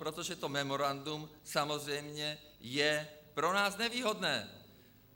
Protože to memorandum samozřejmě je pro nás nevýhodné.